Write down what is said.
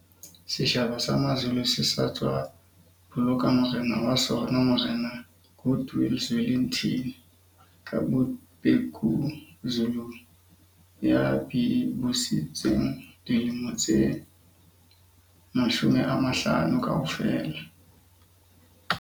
Setjhaba sa Mazulu se sa tswa boloka morena wa sona Morena Goodwill Zwelithini ka Bhekuzulu ya busitseng dilemo tse 50 kaofela.